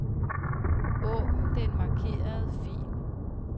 Åbn den markerede fil.